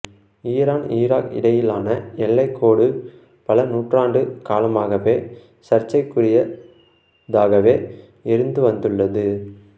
Iran Iraq இடையிலான எல்லைக் கோடு பல நூற்றாண்டு காலமாகவே சர்ச்சைக்குரியதாகவே இருந்து வந்துள்ளது